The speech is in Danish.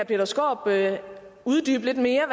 peter skaarup uddybe lidt mere